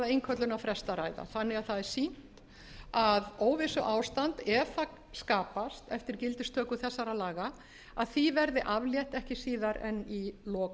það er því sýnt að óvissuástandi ef það skapast eftir gildistöku þessara laga verði aflétt ekki síðar en í lok